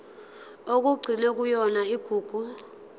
okugcinwe kuyona igugu